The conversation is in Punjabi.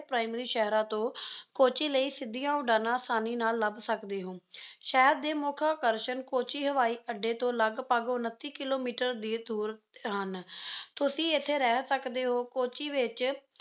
primary ਸ਼ਹਿਰਾਂ ਤੋਂ ਕੋੱਚੀ ਲਈ ਸਿੱਧੀਆਂ ਉਡਾਣਾਂ ਅਸਾਨੀ ਨਾਲ ਲੱਭ ਸਕਦੇ ਹੋ। ਸ਼ਹਿਰ ਦੇ ਮੁੱਖ ਆਕਰਸ਼ਣ ਕੋੱਚੀ ਹਵਾਈ ਅੱਡੇ ਤੋਂ ਲਗਭਗ ਉਨੱਤੀ ਕਿੱਲੋਮੀਟਰ ਦੀ ਦੂਰੀ ਤੇ ਹਨ। ਤੁਸੀਂ ਇੱਥੇ ਰਹੀ ਸਕਦੇ ਹੋ ਕੋੱਚੀ ਵਿੱਚ